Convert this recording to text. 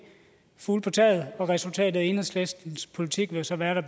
fugle på taget og resultatet af enhedslistens politik vil så være